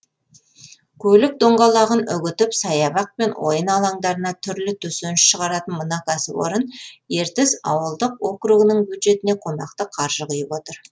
көлік доңғалағын үгітіп саябақ пен ойын алаңдарына түрлі төсеніш шығаратын мына кәсіпорын ертіс ауылдық округінің бюджетіне қомақты қаржы құйып отыр